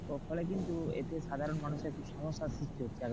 ওর ফলে কিন্তু একটু সাধারণ মানুষের একটু সমস্যার সৃষ্টি হচ্ছে।